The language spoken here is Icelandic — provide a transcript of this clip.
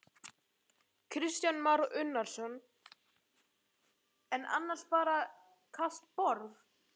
Kristján Már Unnarsson: En annars bara kalt borð?